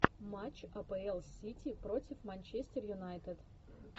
матч апл сити против манчестер юнайтед